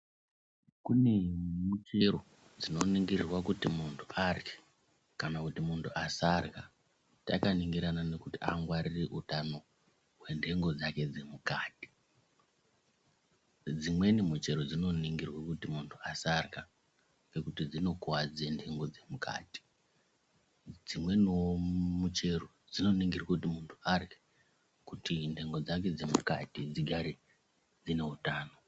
Kune michero dzinoningirwa kuti muntu arye kana kuti muntu asarya takaningirana nekuti angwarire utano hwendengo dzake dzemukati. Dzimweni muchero dzinoningirwe kuti muntu asarya ngekuti dzinokuadze ndengo dzemukati. Dzimweniwo muchero dzinoningirwe kuti muntu arye kuti ndengo dzake dzemukati dzigare dzine utano.